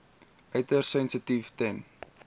uiters sensitief ten